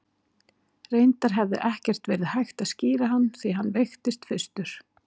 Reyndar hefði ekkert verið hægt að skíra hann, því að hann veiktist fyrstur.